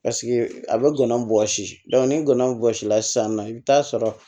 Paseke a bɛ ngɔnɔn bɔsi ni gɔbɔnsi la sisan nɔ i bɛ taa sɔrɔ